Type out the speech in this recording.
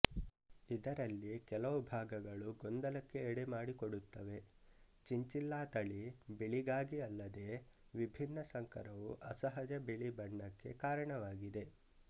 ಇದರಲ್ಲಿ ಕೆಲವು ಭಾಗಗಳು ಗೊಂದಲಕ್ಕೆ ಎಡೆ ಮಾಡಿಕೊಡುತ್ತವೆ ಚಿಂಚಿಲ್ಲಾ ತಳಿಬಿಳಿಗಾಗಿಅಲ್ಲದೇ ವಿಭಿನ್ನ ಸಂಕರವು ಅಸಹಜ ಬಿಳಿ ಬಣ್ಣಕ್ಕೆ ಕಾರಣವಾಗಿದೆ